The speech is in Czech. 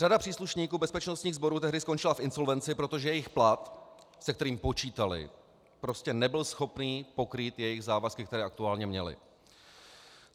Řada příslušníků bezpečnostních sborů tehdy skončila v insolvenci, protože jejich plat, se kterým počítali, prostě nebyl schopný pokrýt jejich závazky, které aktuálně měli.